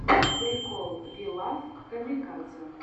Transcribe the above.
прикол ви лав камикадзе